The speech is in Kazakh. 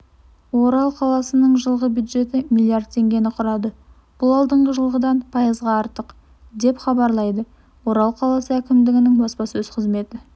орал қаласының жылғы бюджеті миллиардтеңгені құрады бұл алдыңғы жылғыдан пайызға артық деп хабарлайды орал қаласы әкімдігінің баспасөз қызметі